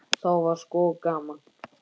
Þá var sko gaman.